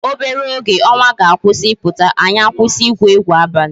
Obere oge ọnwa ga-akwụsị ịpụta, anyị akwụsị igwu egwu abalị